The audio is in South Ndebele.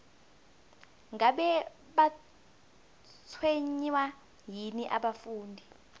ngabe batshwenywa yini abafundi